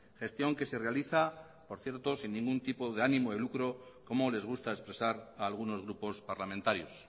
gestión que se realiza por cierto sin ningún tipo de ánimo de lucro como les gusta expresar a algunos grupos parlamentarios